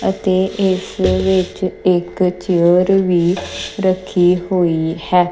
ਅਤੇ ਇਸ ਦੇ ਵਿੱਚ ਇੱਕ ਚੇਅਰ ਵੀ ਰੱਖੀ ਹੋਈ ਹੈ।